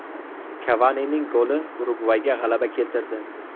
Kavanining goli Urugvayga g‘alaba keltirdi .